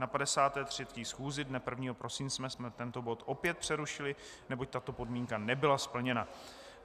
Na 53. schůzi dne 1. prosince jsme tento bod opět přerušili, neboť tato podmínka nebyla splněna.